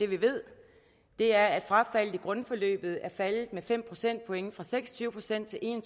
vi ved er at frafaldet i grundforløbet er faldet med fem procentpoint fra seks og tyve procent til en